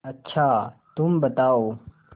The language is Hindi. अच्छा तुम बताओ